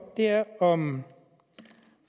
er om